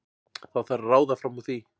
Þá þarf að ráða fram úr því.